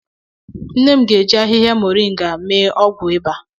Nne m ga-eji ahịhịa moringa a mee ọgwụ ịba